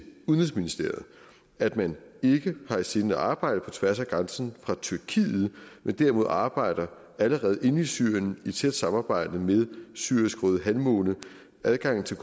udenrigsministeriet at man ikke har i sinde at arbejde på tværs af grænsen fra tyrkiet men derimod allerede arbejder inde i syrien i tæt samarbejde med syrisk røde halvmåne adgangen til